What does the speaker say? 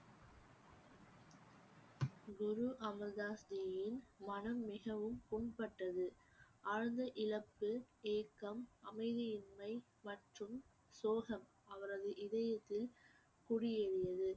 குரு அமிர்தாஸ் ஜியின் மனம் மிகவும் புண்பட்டது ஆழ்ந்த இழப்பு ஏக்கம் அமைதியின்மை மற்றும் சோகம் அவரது இதயத்தில் குடியேறியது